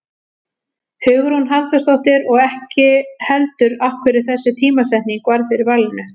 Hugrún Halldórsdóttir: Og ekki heldur af hverju þessi tímasetning varð fyrir valinu?